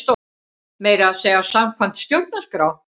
Meira að segja samkvæmt stjórnarskrá!